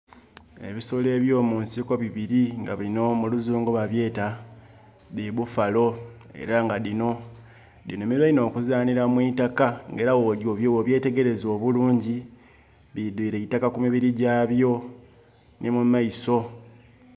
Ebisolo eby'omunsiko bibiri nga binho muluzungu babyeta dhi bufalo era nga dhinho dhinhumilwa inho okuzanhila mu itaka nga era bw'obyetegereza obulungi, bidwire eitaka ku mibiri gyabyo nhi mumaiso.